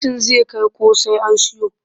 Fentin zai kai ko sai an siyo